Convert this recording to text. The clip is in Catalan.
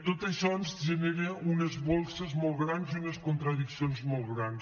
tot això ens genera unes bosses molt grans i unes contradiccions molt grans